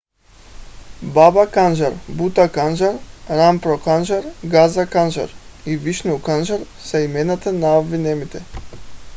баба канжар бута канжар рампро канжар газа канжар и вишну канжар са имената на обвиняемите